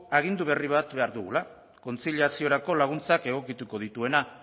agindu berri bat behar dugula kontziliaziorako laguntzak egokituko dituena